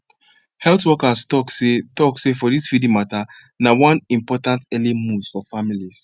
health workers talk seh talk seh for this feeding mata na one important early move for families